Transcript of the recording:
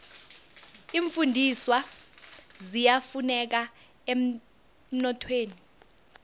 iimfundiswa ziyafuneka emnothweni